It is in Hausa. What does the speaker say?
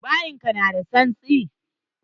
Bayin ka na da tsantsi.